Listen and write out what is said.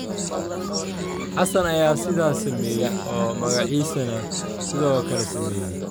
Xassan ayaa sidaas sameeyay oo magaciisana sidoo kale sameeyay.”